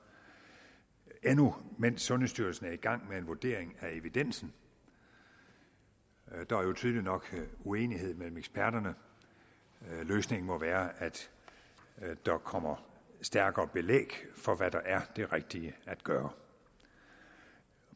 endnu mens sundhedsstyrelsen er i gang med en vurdering af evidensen der er jo tydeligt nok uenighed mellem eksperterne løsningen må være at der kommer stærkere belæg for hvad der er det rigtige at gøre